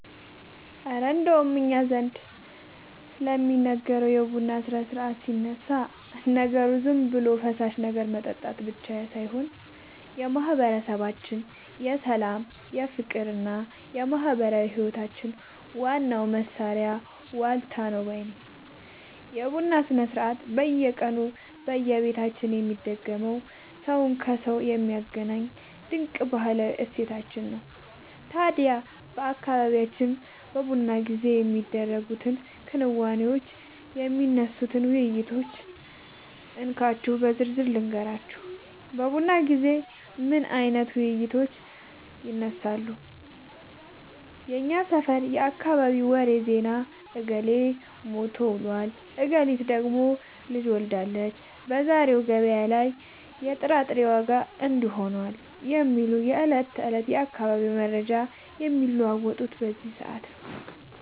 እረ እንደው እኛ ዘንድ ስለሚደረገው የቡና ሥርዓትማ ሲነሳ፣ ነገሩ ዝም ብሎ የፈሳሽ ነገር መጠጣት ብቻ ሳይሆን የማህበረሰባችን የሰላም፣ የፍቅርና የማህበራዊ ህይወታችን ዋናው ማሰሪያ ዋልታ ነው ባይ ነኝ! የቡና ሥርዓት በየቀኑ በየቤታችን የሚደገም፣ ሰውን ከሰው የሚያገናኝ ድንቅ ባህላዊ እሴታችን ነው። ታዲያ በአካባቢያችን በቡና ጊዜ የሚደረጉትን ክንዋኔዎችና የሚነሱትን ውይይቶች እንካችሁ በዝርዝር ልንገራችሁ፦ በቡና ጊዜ ምን አይነት ውይይቶች ይነሳሉ? የሰፈርና የአካባቢ ወሬ (ዜና)፦ "እገሌ ታሞ ውሏል፣ እገሊት ደግሞ ልጅ ወልዳለች፣ በዛሬው ገበያ ላይ የጥራጥሬ ዋጋ እንዲህ ሆኗል" የሚሉ የዕለት ተዕለት የአካባቢው መረጃዎች የሚለዋወጡት በዚህ ሰዓት ነው።